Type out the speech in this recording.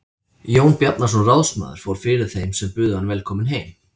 Jón Bjarnason ráðsmaður fór fyrir þeim sem buðu hann velkominn heim.